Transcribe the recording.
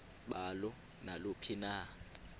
balo naluphi na